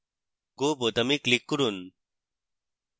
go বোতামে click করুন